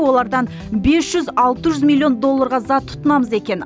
олардан бес жүз алты жүз милллион долларға зат тұтынамыз екен